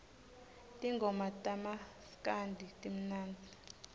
tingoma tamaskandi timnandzi